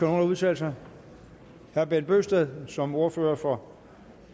udtale sig herre bent bøgsted som ordfører for